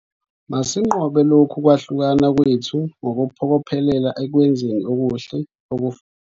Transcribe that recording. Masinqobe lokhu kwahlukana kwethu ngokuphokophelela ekwenzeni okuhle okufanayo.